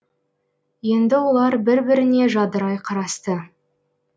енді олар бір біріне жадырай қарасты